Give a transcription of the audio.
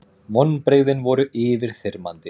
Vonbrigðin voru yfirþyrmandi.